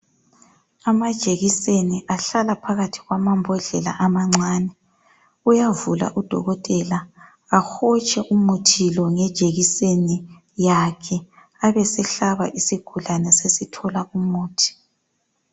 Amajekiseni ahlala phakathi lwambodlela amancani uyavula udokotela ahotshe umuthi lo ngejekiseni yakhe abesehlaba isigulane sesithola umuthi.